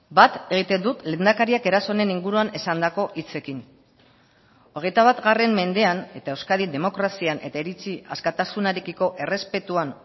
bat egiten dut lehendakariak eraso honen inguruan esandako hitzekin hogeita bat mendean eta euskadin demokrazian eta iritzi askatasunarekiko errespetuan